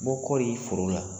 bɔ kɔɔri foro la.